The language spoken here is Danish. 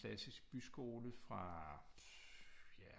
Klassisk byskole fra ja